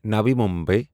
Navi Mumbai